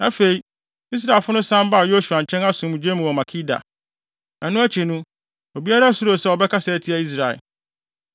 Afei, Israelfo no san baa Yosua nkyɛn asomdwoe mu wɔ Makeda. Ɛno akyi, obiara suroo sɛ ɔbɛkasa atia Israel.